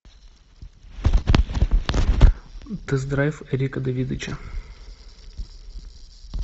тест драйв эрика давидыча